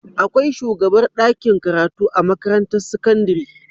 Akwai shugabar dakin karatu a makarantar sakandari